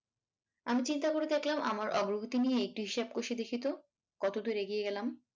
আমি চিন্তা করে দেখলাম আমার অগ্রগতি নিয়ে একটি হিসেব কষে ‍দেখিতো কতদূর এগিয়ে গেলাম।